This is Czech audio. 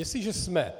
Jestliže jsem